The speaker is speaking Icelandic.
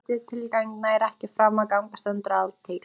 Ef breytingatillaga nær ekki fram að ganga stendur aðaltillaga.